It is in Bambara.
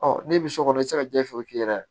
Ɔ n'i bi so kɔnɔ i ti se ka jɛgɛ f'i k'i yɛrɛ